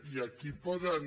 i aquí poden